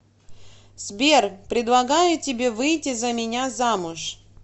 сбер предлагаю тебе выйти за меня замуж